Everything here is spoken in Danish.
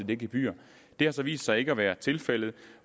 det gebyr det har så vist sig ikke at være tilfældet